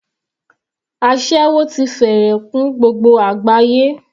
Aséwó ti fẹ́rẹ̀ kún gbogbo àgbáyé.